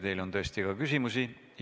Teile on tõesti ka küsimusi.